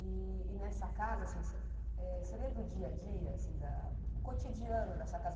E e nessa casa, assim você eh você lembra o dia a dia assim da, o cotidiano dessa casa?